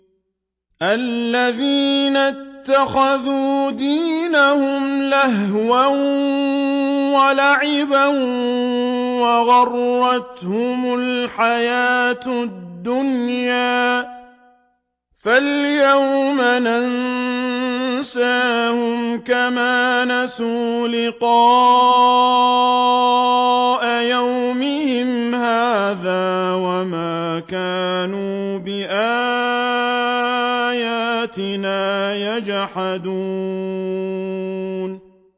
الَّذِينَ اتَّخَذُوا دِينَهُمْ لَهْوًا وَلَعِبًا وَغَرَّتْهُمُ الْحَيَاةُ الدُّنْيَا ۚ فَالْيَوْمَ نَنسَاهُمْ كَمَا نَسُوا لِقَاءَ يَوْمِهِمْ هَٰذَا وَمَا كَانُوا بِآيَاتِنَا يَجْحَدُونَ